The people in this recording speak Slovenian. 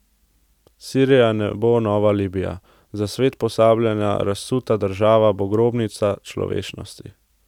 Sirija ne bo nova Libija, za svet pozabljena razsuta država, bo grobnica človečnosti.